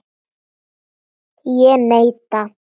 Ég neita.